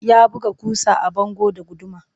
Ya buga ƙusa a bango da guduma